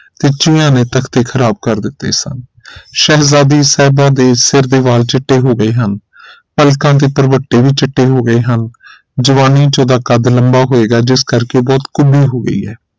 ਤੇ ਚੂਹੀਆਂ ਨੇ ਤਖਤੇ ਖ਼ਰਾਬ ਕਰ ਦਿਤੇ ਸਨ ਸ਼ਹਿਜ਼ਾਦੀ ਸਾਹਿਬਾਂ ਦੇ ਸਿਰ ਦੇ ਵਾਲ ਚਿੱਟੇ ਹੋ ਗਏ ਹਨ ਪਲਕਾਂ ਦੇ ਪ੍ਰਵੱਟੇ ਵੀ ਚਿੱਟੇ ਹੋ ਗਏ ਹਨ ਜਵਾਨੀ ਚ ਉਹਦਾ ਕਦ ਲੰਬਾ ਹੋਏਗਾ ਜਿਸ ਕਰਕੇ ਉਹ ਕੁਬੀ ਹੋ ਗਈ ਹੈ